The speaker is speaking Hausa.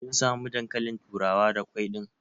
Kin samu dankalin turawa da kwai ɗin?